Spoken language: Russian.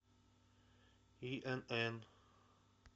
инн